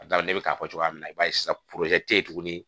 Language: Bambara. ne bɛ k'a fɔ cogoya min na i b'a ye sisan tɛ yen tuguni